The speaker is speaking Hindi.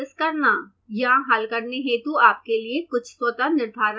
यहाँ हल करने हेतु आपके लिए कुछ स्वतः निर्धारण वाले प्रश्न हैं